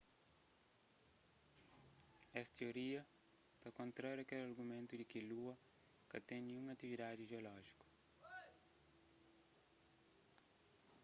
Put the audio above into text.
es tioria ta kontraria kel argumentu di ki lua ka ten ninhun atividadi jeolójiku